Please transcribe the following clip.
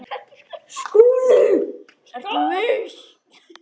SKÚLI: Ertu viss?